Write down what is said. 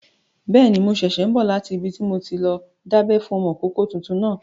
Bẹ́ẹ̀ni, mo ṣẹ̀ṣẹ̀ n bọ̀ láti ibi tí mo ti lọ dábẹ́ fún ọmọkọ́kọ́ tuntun náà